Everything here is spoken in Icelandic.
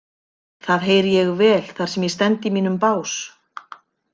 Það heyri ég vel þar sem ég stend í mínum bás.